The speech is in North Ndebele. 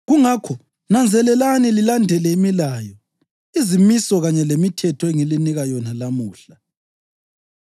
Kungakho, nanzelelani lilandele imilayo, izimiso kanye lemithetho engilinika yona lamuhla.